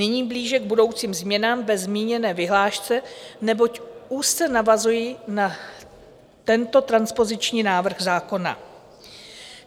Nyní blíže k budoucím změnám ve zmíněné vyhlášce, neboť úzce navazují na tento transpoziční návrh zákona.